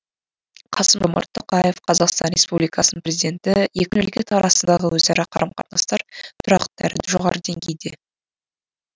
қасым жомарт тоқаев қазақстан республикасының президенті екі мемлекет арасындағы өзара қарым қатынастар тұрақты әрі жоғары деңгейде